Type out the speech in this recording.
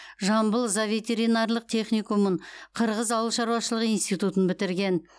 жамбыл зооветеринарлық техникумын қырғыз ауыл шаруашылығы институтын бітірген